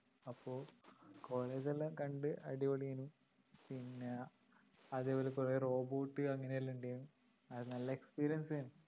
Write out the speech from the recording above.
അപ്പൊ college ല്ലാം കണ്ട് അടിപൊളിയാണ് പിന്നെ അതേപോലെ കുറേ robot അങ്ങനെ എല്ലാം ഉണ്ടായിരുന്നു അത് നല്ല experience ആയിരുന്നു